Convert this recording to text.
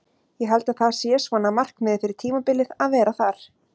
Ég held að það sé svona markmiðið fyrir tímabilið að vera þar.